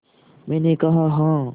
मैंने कहा हाँ